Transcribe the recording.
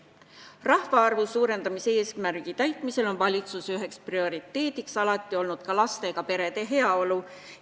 Rahvaarvu suurendamise eesmärki täites on üks valitsuse prioriteet lastega perede heaolu.